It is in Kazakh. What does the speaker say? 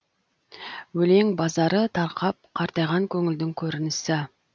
өлең базары тарқап қартайған көңілдің көрінісі